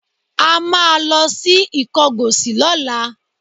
A máa lọ sí Ìkọgòsì lọ́la